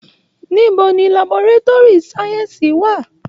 Níbo ni laboretúrì sáyẹ́ǹsì wà?